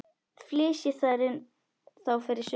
Flysjið þær þá fyrir suðu.